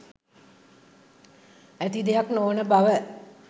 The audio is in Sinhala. ඇති දෙයක් නොවන බව